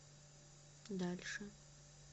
дальше